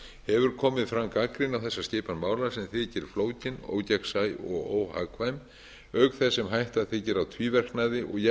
hefur komið fram gagnrýni á þessa skipan mála sem þykir flókið ógegnsæ og óhagkvæm auk þess sem hætta þykir á tvíverknaði og